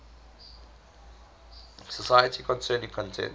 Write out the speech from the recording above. society concerning content